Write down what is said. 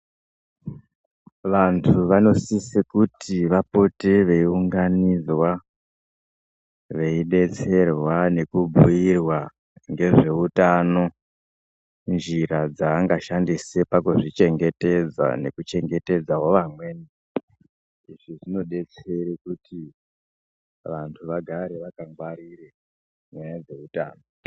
Vantu vanosise kuti vapote veiunganidzwa veidetserwa nekubhirwa ngezveutano njira dzakashandisa pakudzichengetedza nekuchengetedzawo vamweni izvi zvinodetsere kuti vantu vagare vakangwarire nyaya dzeutano.